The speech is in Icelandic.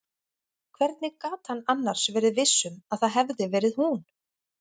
Hvernig gat hann annars verið viss um að það hefði verið hún?